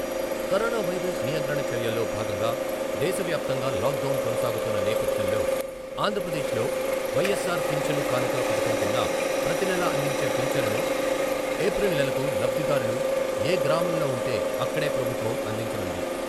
Corona virus నియంత్రణ చర్యల్లో భాగంగా దేశ వ్యాప్తంగా లాక్డౌన్ కొనసాగుతున్న నేపథ్యంలో ఆంధ్రప్రదేశ్ లో వైఎస్సార్ పింఛను కానుక పథకం కింద ప్రతినెలా అందించే పింఛన్ను ఏప్రిల్ నెలకు లబ్ధిదారులు ఏ గ్రామంలో ఉంటే అక్కడే ప్రభుత్వం అందించనుంది.